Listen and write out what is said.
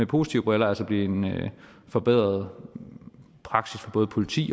positive briller altså blive en forbedret praksis for både politiet